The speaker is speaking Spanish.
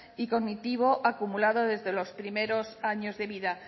y cognitivo acumulado desde los primeros años de vida